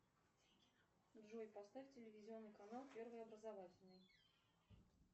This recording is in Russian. джой поставь телевизионный канал первый образовательный